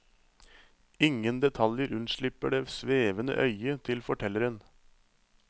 Ingen detaljer unnslipper det svevende øyet til fortelleren.